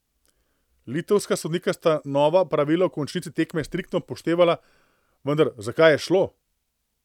Litovska sodnika sta nova pravila v končnici tekme striktno upoštevala, vendar, za kaj je šlo?